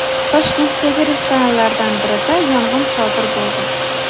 Toshkentdagi restoranlardan birida yong‘in sodir bo‘ldi.